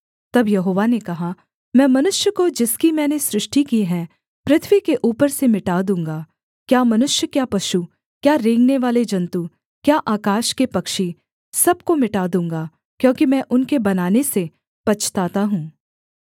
तब यहोवा ने कहा मैं मनुष्य को जिसकी मैंने सृष्टि की है पृथ्वी के ऊपर से मिटा दूँगा क्या मनुष्य क्या पशु क्या रेंगनेवाले जन्तु क्या आकाश के पक्षी सब को मिटा दूँगा क्योंकि मैं उनके बनाने से पछताता हूँ